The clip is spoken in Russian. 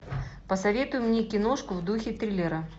посоветуй мне киношку в духе триллера